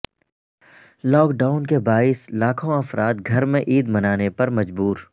lock down کے باعث لاکھوں افراد گھر میں عید منانے پر مجبور